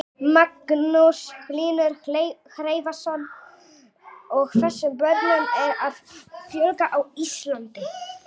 Magnús Hlynur Hreiðarsson: Og þessum börnum er að fjölga á Íslandi?